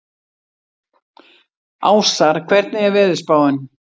Ásar, hvernig er veðurspáin?